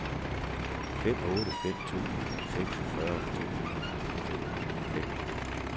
fem otte fem to seksogfyrre to hundrede og femoghalvfems